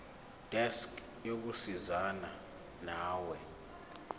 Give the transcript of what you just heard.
desk yokusizana nawe